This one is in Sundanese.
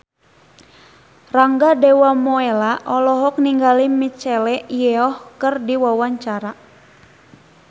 Rangga Dewamoela olohok ningali Michelle Yeoh keur diwawancara